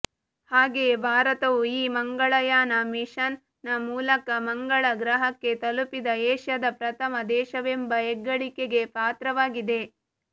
ಹಾಗೆಯೇ ಭಾರತವು ಈ ಮಂಗಳಯಾನ ಮಿಷನ್ ನ ಮೂಲಕ ಮಂಗಳ ಗ್ರಹಕ್ಕೆ ತಲುಪಿದ ಏಷ್ಯಾದ ಪ್ರಥಮ ದೇಶವೆಂಬ ಹೆಗ್ಗಳಿಕೆಗೆ ಪಾತ್ರವಾಗಿದೆ